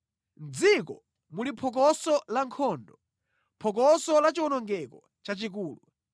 Mʼdziko muli phokoso la nkhondo, phokoso la chiwonongeko chachikulu!